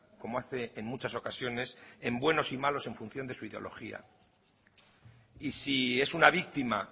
como hace en muchas ocasiones en buenos y malos en función de su ideología y si es una víctima